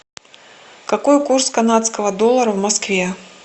какой курс канадского доллара в москве